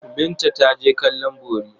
Binta ta je kallon bori.